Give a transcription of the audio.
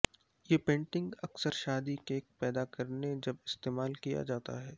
یہ پینٹنگ اکثر شادی کیک پیدا کرنے جب استعمال کیا جاتا ہے